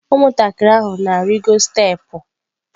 Ụmụntakịrị ahụ na-arịgo steepụ.